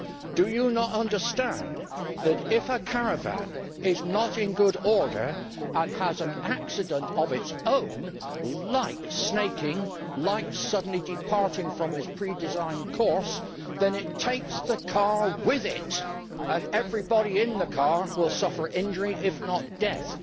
Do people not understand that if a caravan is not in good order and has an accident on its own, like snaking or suddenly departing from its pre designed course, then it takes the car with it and everybody in the car will suffer injury if not death?